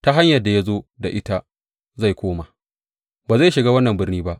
Ta hanyar da ya zo da ita zai koma; ba zai shiga wannan birni ba,